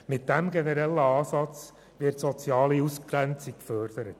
Mit diesem generellen Ansatz wird die soziale Ausgrenzung gefördert.